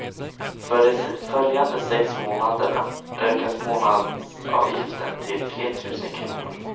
För de följande sex månaderna ökas månadsavgiften till tretusen kronor.